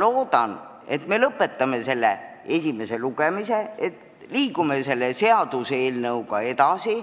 Loodan, et me lõpetame esimese lugemise, liigume selle seaduseelnõuga edasi